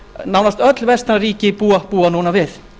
nánast öll vestræn ríki búa núna við við